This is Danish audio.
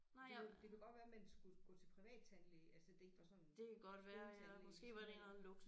Det det kunne godt være man skulle gå til privattandlæge altså det ikke var sådan skoletandlæge sådan